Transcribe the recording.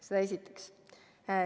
Seda esiteks.